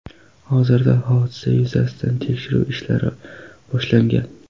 Hozirda hodisa yuzasidan tekshiruv ishlari boshlangan.